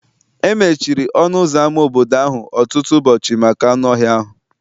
E mechiri ọnụ ụzọ ámá obodo ahụ ọtụtụ ụbọchị maka anụ ọhịa ahụ